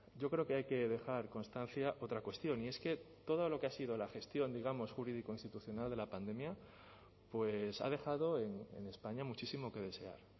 yo creo que hay que dejar constancia otra cuestión y es que todo lo que ha sido la gestión digamos jurídico institucional de la pandemia pues ha dejado en españa muchísimo que desear